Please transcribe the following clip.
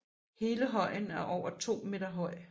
Hele højen er over 3 meter høj